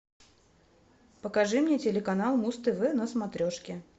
покажи мне телеканал муз тв на смотрешке